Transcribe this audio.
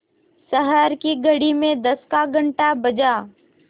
शहर की घड़ी में दस का घण्टा बजा